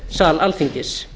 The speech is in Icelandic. sal alþingis